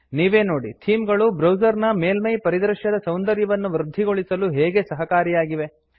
ನೀವೇ ನೋಡಿ ಥೀಮ್ ಗಳು ಬ್ರೌಸರ್ ನ ಮೇಲ್ಮೈ ಪರಿದೃಶ್ಯದ ಸೌಂದರ್ಯವನ್ನು ವೃದ್ಧಿಗೊಳಿಸಲು ಹೇಗೆ ಸಹಕಾರಿಯಾಗಿವೆ160